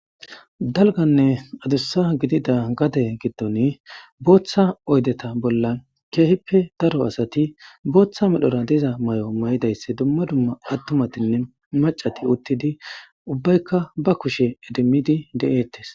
Dalganne adussa gidida gade giddon booththa oydeta bolla keehippe daro asati booththa medhora diza may'o may'idaysse dumma dumma attumatinne macati uttidi ubbaykka ba kushe edimidi de'eettes.